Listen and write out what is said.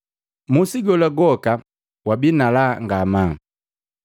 Musi gola gwoka wabii nalaa ngamaa.